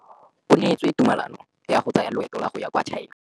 O neetswe tumalanô ya go tsaya loetô la go ya kwa China.